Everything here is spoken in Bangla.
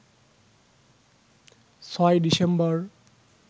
৬ ডিসেম্বর